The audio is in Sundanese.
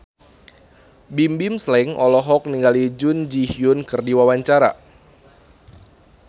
Bimbim Slank olohok ningali Jun Ji Hyun keur diwawancara